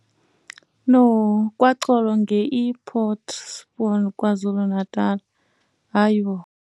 KwaXolo ngei Port Shepstone, KwaZulu-Natal.